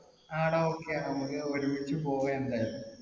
ആ ഡാ. okay നമ്മുക്ക് ഒരുമിച്ച് പോവാ എന്തായാലും.